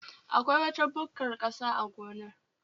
Akwai wata bukkar ƙasa a gonar